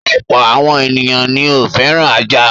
Ọ̀pọ̀ àwọn ènìyàn ni ó fẹ́ràn ajá.